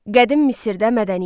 Qədim Misirdə mədəniyyət.